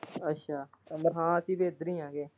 ਅੱਛਾ ਅੰਮ ਠੀਕ ਐ ਇੱਧਰ ਹੀ ਆ ਹਜੇ।